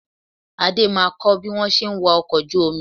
Adé máa kọ́ bí wọn ṣe ń wa ọkọ̀ ojú omi